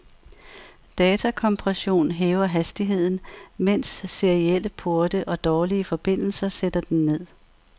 Datakompression hæver hastigheden, mens serielle porte og dårlige forbindelser sætter den ned.